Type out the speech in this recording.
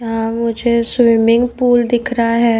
हां मुझे swimming pool दिख रहा है।